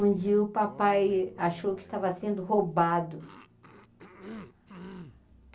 Onde o papai achou que estava sendo roubado.